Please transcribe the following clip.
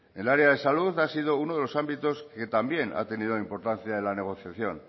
el área de salud ha sido uno de los ámbitos que también ha tenido importancia en la negociación